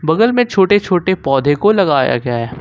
बगल में छोटे-छोटे पौधे को लगाया गया है।